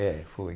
É, foi.